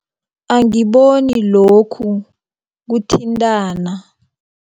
Angiboni lokhu kuthintana.